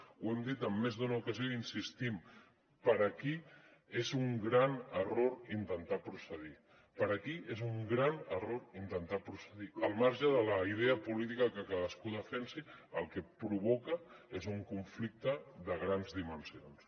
ho hem dit en més d’una ocasió i hi insistim per aquí és un gran error intentar procedir per aquí és un gran error intentar procedir al marge de la idea política que cadascú defensi el que provoca és un conflicte de grans dimensions